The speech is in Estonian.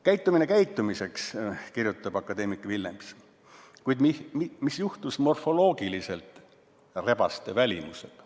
Käitumine käitumiseks, kuid mis juhtus morfoloogiliselt, välimusega?